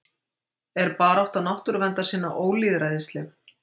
Er barátta náttúruverndarsinna ólýðræðisleg?